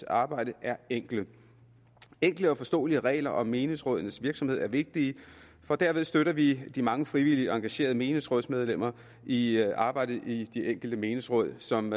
arbejde er enkle enkle og forståelige regler om menighedsrådenes virksomhed er vigtige for derved støtter vi de mange frivillige og engagerede menighedsrådsmedlemmer i arbejdet i de enkelte menighedsråd som